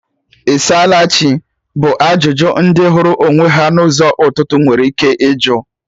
"Ị saala Chi?" bụ ajụjụ ndị hụrụ onwe ha na ụzọ ụtụtụ nwere ike ịjụ